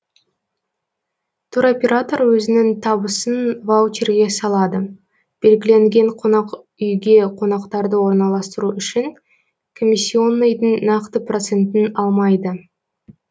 туроператор өзінің табысын ваучерге салады белгіленген қонақ үйге қонақтарды орналастыру үшін комиссионныйдың нақты процентін алмайды